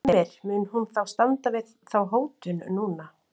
Heimir, mun hún þá standa við þá hótun núna?